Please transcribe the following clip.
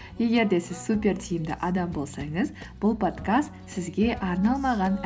егер де сіз супер тиімді адам болсаңыз бұл подкаст сізге арналмаған